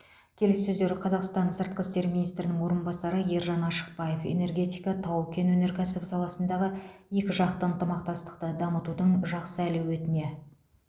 келіссөздер қазақстан сыртқы істер министрінің орынбасары ержан ашықбаев энергетика тау кен өнеркәсібі саласындағы екіжақты ынтымақтастықты дамытудың жақсы әлеуетіне